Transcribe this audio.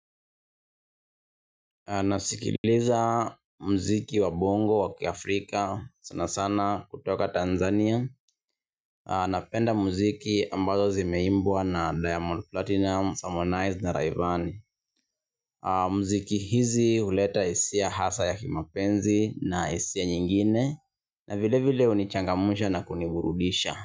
Nasikiliza muziki wa bongo wa kiafrika, sana sana kutoka Tanzania. Napenda muziki ambazo zimeimbwa na Diamond Platnumz, Harmonize na Rayvanny. Muziki hizi huleta hisia hasa ya kimapenzi na hisia nyingine. Na vilevile hunichangamsha na kuniburudisha.